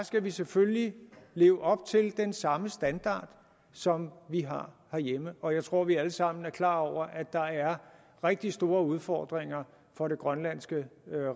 skal vi selvfølgelig leve op til den samme standard som vi har herhjemme og jeg tror vi alle sammen er klar over at der er rigtig store udfordringer for det grønlandske